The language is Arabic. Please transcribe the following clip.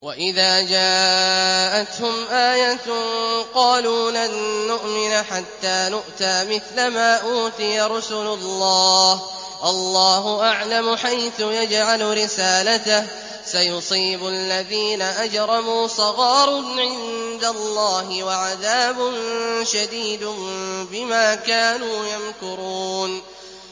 وَإِذَا جَاءَتْهُمْ آيَةٌ قَالُوا لَن نُّؤْمِنَ حَتَّىٰ نُؤْتَىٰ مِثْلَ مَا أُوتِيَ رُسُلُ اللَّهِ ۘ اللَّهُ أَعْلَمُ حَيْثُ يَجْعَلُ رِسَالَتَهُ ۗ سَيُصِيبُ الَّذِينَ أَجْرَمُوا صَغَارٌ عِندَ اللَّهِ وَعَذَابٌ شَدِيدٌ بِمَا كَانُوا يَمْكُرُونَ